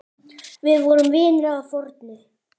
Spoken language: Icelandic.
Við vorum vinir að fornu.